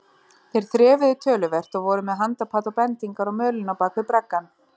Þeir þrefuðu töluvert og voru með handapat og bendingar á mölinni á bak við braggann.